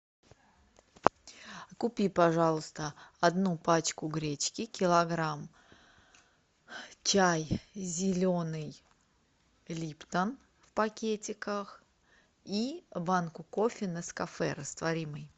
купи пожалуйста одну пачку гречки килограмм чай зеленый липтон в пакетиках и банку кофе нескафе растворимый